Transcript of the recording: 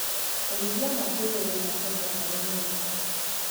ũrĩithi wa ngurwe wina baida harĩ nyumba